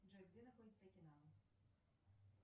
джой где находится окинава